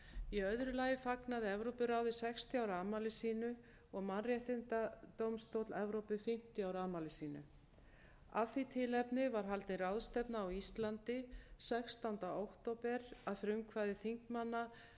í öðru lagi fagnaði evrópuráðið sextíu ára afmæli sínu og mannréttindadómstóll evrópu fimmtíu ára afmæli sínu af því tilefni var haldin ráðstefna á íslandi sextánda október að frumkvæði þingmanna